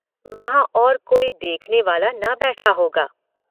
वहाँ और कोई देखनेवाला ना बैठा होगा।